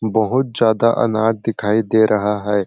बहुत ज़्यादा अनार दिखाई दे रहा है।